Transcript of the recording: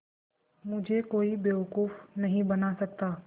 मुझे कोई बेवकूफ़ नहीं बना सकता